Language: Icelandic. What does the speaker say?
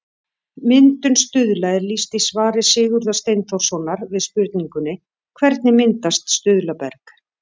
Myndun stuðla er lýst í svari Sigurðar Steinþórssonar við spurningunni Hvernig myndast stuðlaberg?